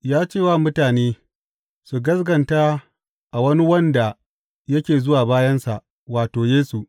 Ya ce wa mutane su gaskata a wani wanda yake zuwa bayansa, wato, Yesu.